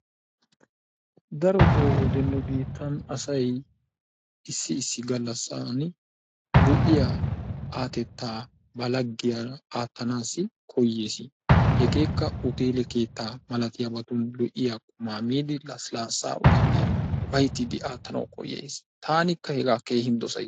Darotoo wode nu biittaan asay issi issi galasaani lo'iyaa aatettaa ba laggiyaara aatanas koyeesi. Hegeekka huteele keettaa malattiyabatun lo'iya qumaa miidi lassilaasaa uyyidi ufaytiidi aattanawu koyees. Taanikka hegaa koyays.